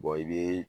i bɛ